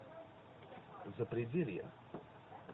запределье